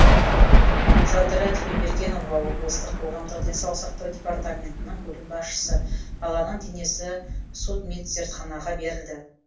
жадыра тілеубергенова облыстық қоғамдық денсаулық сақтау департаментінің бөлім басшысы баланың денесі судмедзертханаға берілді